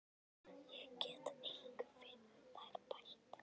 Ég get engu við þær bætt.